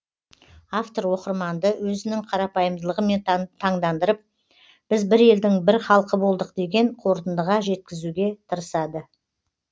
автор оқырманды өзінің қарапайымдылығымен тандандырып біз бір елдің бір халқы болдық деген қорытындыға жеткізуге тырысады